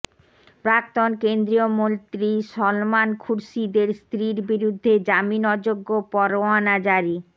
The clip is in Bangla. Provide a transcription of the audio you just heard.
প্রাক্তন কেন্দ্রীয় মন্ত্রী সলমান খুরশিদের স্ত্রীর বিরুদ্ধে জামিন অযোগ্য পরোয়ানা জারি